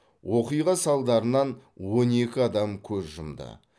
оқиға салдарынан он екі адам көз жұмды